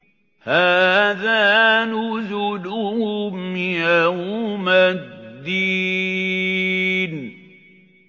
هَٰذَا نُزُلُهُمْ يَوْمَ الدِّينِ